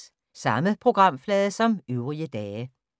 Samme programflade som øvrige dage